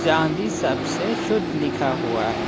चांदी सबसे शुद्ध लिखा हुआ है।